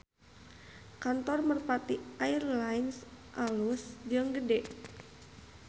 Kantor Merpati Air Lines alus jeung gede